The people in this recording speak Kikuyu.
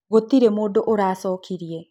Gũtĩrĩ mũndũ ũracokĩrĩe.